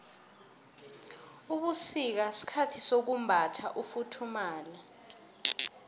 ubusika sikhathi sokumbatha ufuthumale